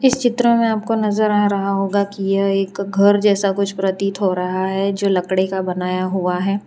इस चित्र में आपको नजर आ रहा होगा कि यह एक घर जैसा कुछ प्रतीत हो रहा है जो लकड़े का बनाया हुआ है।